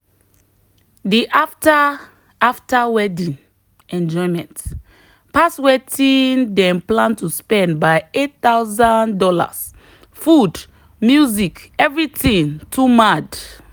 the after after wedding enjoyment pass wetin dem plan to spend by $8000 food music everything too mad.